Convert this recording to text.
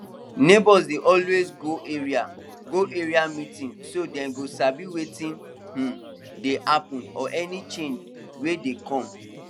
neighbours dey always go area go area meeting so dem go sabi wetin um dey happen or any change wey dey come